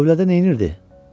Tövlədə nə edirdi?